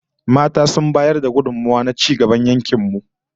Mata sun bayar da gudummawa na ci gaban yankin mu